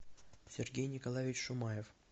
сергей николаевич шумаев